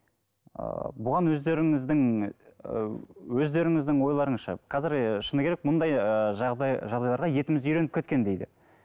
ы бұған өздеріңіздің і өздеріңіздің ойларыңызша қазір ы шыны керек мұндай ыыы жағдай жағдайларға етіміз үйреніп кеткендей де